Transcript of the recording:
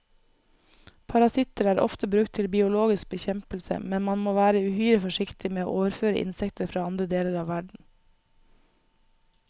Parasitter er ofte brukt til biologisk bekjempelse, men man må være uhyre forsiktig med å overføre insekter fra andre deler av verden.